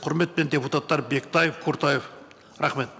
құрметпен депутаттар бектаев құртаев рахмет